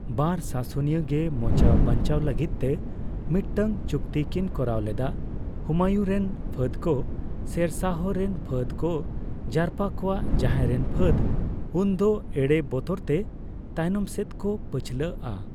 ᱵᱟᱨ ᱥᱟᱥᱚᱱᱤᱭᱟᱹ ᱜᱮ ᱢᱚᱪᱟ ᱵᱟᱧᱪᱟᱣ ᱞᱟᱹᱜᱤᱫᱼᱛᱮ ᱢᱤᱫᱴᱟᱝ ᱪᱩᱠᱛᱤ ᱠᱤᱱ ᱠᱚᱨᱟᱣ ᱞᱮᱫᱟ ᱾ ᱦᱩᱢᱟᱭᱩᱱ ᱨᱮᱱ ᱯᱷᱟᱹᱫᱽ ᱠᱚ ᱥᱮᱨᱥᱟᱦᱚ ᱨᱮᱱ ᱯᱷᱟᱹᱫᱽ ᱠᱚ ᱡᱟᱨᱯᱟ ᱠᱚᱣᱟ, ᱡᱟᱦᱟᱭ ᱨᱮᱱ ᱯᱷᱟᱹᱫᱽ ᱩᱱᱫᱚ ᱮᱲᱮ ᱵᱚᱛᱚᱨᱛᱮ ᱛᱟᱭᱱᱚᱢᱥᱮᱫ ᱠᱚ ᱯᱟᱹᱪᱷᱞᱟᱹᱜᱼᱟ ᱾